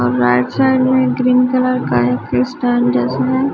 और right side में green colour का एक स्टैंड --